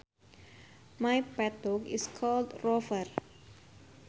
My pet dog is called Rover